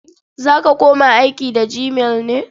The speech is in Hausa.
Za ka koma aiki da gmail ne?